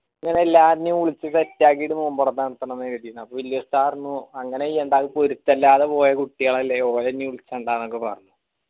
ഇങ്ങള എല്ലാരേറിന്യു വിളിച്ച്‌ set ആക്കിയിട്ട് നോമ്പൊറ നടത്തണമെന്നാ കരുതിയിന് അപ്പൊ വെല്യ ഉസ്താദ് പറഞ്ഞു അങ്ങനെ ചെയ്യണ്ട അത് പൊരുത്തില്ലാതെ പോയ കുട്ടികളല്ലേ ഓറ നീ വിളിക്കണ്ടാ ന്നൊക്ക പറഞ്ഞു